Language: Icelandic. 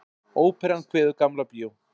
Óperan kveður Gamla bíó